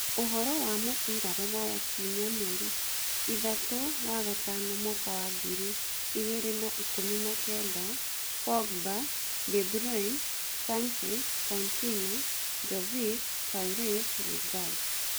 Ũhoro wa mũbira rũraya kiumia mweri ithatũ wagatano mwaka wa ngiri igĩrĩ na ikũmi na kenda: Pogba, De Bruyne, Sanchez, Coutinho, Jovic, Suarez, Lingard